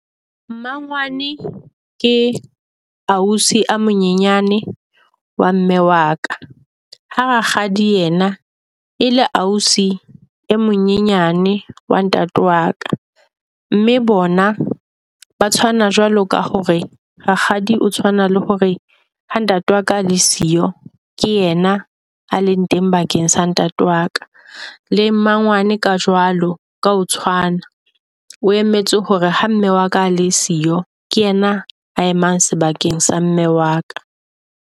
Mmangwane ke ausi a monyenyane wa mme wa ka. Ha Rakgadi yena e le ausi e monyenyane wa ntate wa ka. Mme bona ba tshwana jwalo ka hore Rakgadi o tshwana le hore ha ntate wa ka ale siyo, ke yena a leng teng bakeng sa ntate wa ka. Le mmangwane ka jwalo ka ho tshwana, o emetse hore ha mme wa ka le siyo ke yena a emang sebakeng sa mme wa ka.